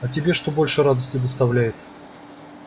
а тебе что больше радости доставляет